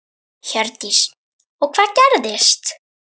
Hjördís: Og hvað gerðist?